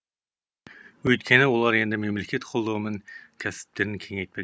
өйткені олар енді мемлекет қолдауымен кәсіптерін кеңейтпек